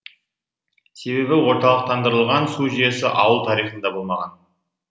себебі орталықтандырылған су жүйесі ауыл тарихында болмаған